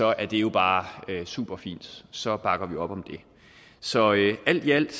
er det jo bare superfint så bakker vi op om det så alt i alt